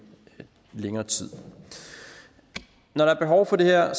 længere tid når der er behov for det her